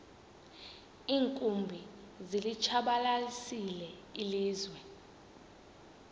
iinkumbi zilitshabalalisile ilizwe